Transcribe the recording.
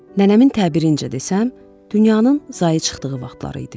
Nənəmin təbirincə desəm, dünyanın zayı çıxdığı vaxtları idi.